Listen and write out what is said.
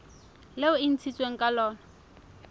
leo e ntshitsweng ka lona